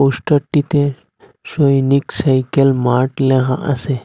পোস্টারটিতে সৈনিক cycle mart ল্যাহা আসে।